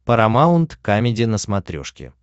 парамаунт камеди на смотрешке